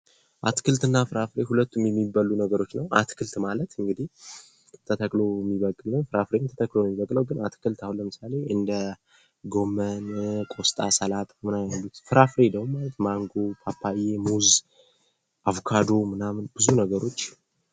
አትክልትና ፍራፍሬ ሁለት የሚበሉ ነገሮች ናቸው አትክልት ማለት እንግዲ ተተክሎ የሚበቅል ፍራፍሬ ተተክሎ ነው የሚበቅለው ፤ አትክልት አሁን ለምሳሌ ጎመን፥ ቆስጣ፥ ሰላጣ ያሉት ፍራፍሬ ደግሞ ማንጎ፥ ፓፓያ፥ ሙዝ፥ አቮካዶ ምናምን ብዙ ነገሮች።